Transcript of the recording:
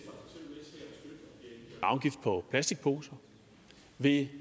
afgift på plastikposer vil